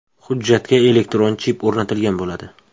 Hujjatga elektron chip o‘rnatilgan bo‘ladi.